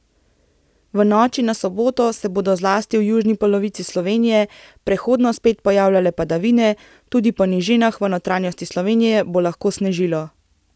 V noči na soboto se bodo zlasti v južni polovici Slovenije prehodno spet pojavljale padavine, tudi po nižinah v notranjosti Slovenije bo lahko snežilo.